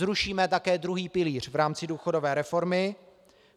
Zrušíme také druhý pilíř v rámci důchodové reformy.